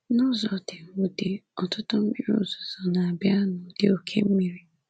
N’ụzọ dị mwute, ọtụtụ mmiri ozuzo na-abịa n'ụdị oké mmiri.